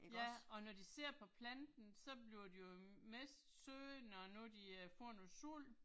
Ja og når de sidder på planten, så bliver de jo mest søde når nu de øh får noget sol